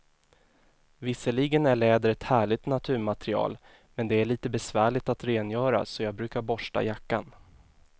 Visserligen är läder ett härligt naturmaterial, men det är lite besvärligt att rengöra, så jag brukar borsta jackan.